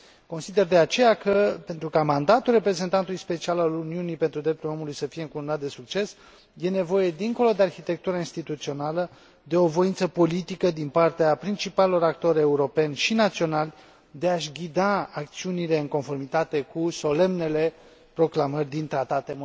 Consider, de aceea, că, pentru ca mandatul reprezentantului special al Uniunii pentru drepturile omului să fie încununat de succes, este nevoie, dincolo de arhitectura instituțională, de o voință politică din partea principalilor actori europeni și naționali de a și ghida acțiunile în conformitate cu solemnele proclamări din tratate.